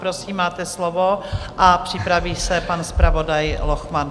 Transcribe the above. Prosím, máte slovo, a připraví se pan zpravodaj Lochman.